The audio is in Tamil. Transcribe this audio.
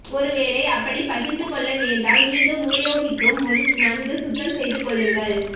ஒருவேளை அப்படி பகிர்ந்துகொள்ள நேர்ந்தால் மீண்டும் உபயோகிக்கும் முன் நன்கு சுத்தம் செய்துகொள்ளுங்கள்